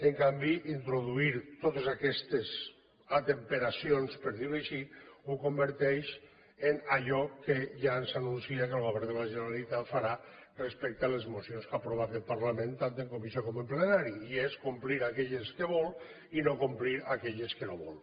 en canvi introduir totes aquestes atemperacions per dir ho així ho converteix en allò que ja ens anuncia que el govern de la generalitat farà respecte a les mocions que aprova aquest parlament tant en comissió com en plenari i és complir aquelles que vol i no complir aquelles que no vol